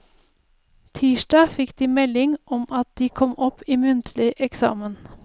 Tirsdag fikk de melding om at de kom opp i muntlig eksamen.